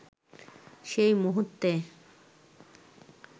সেই মুহূর্তে